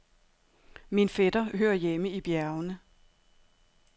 Min fætter hører hjemme i bjergene.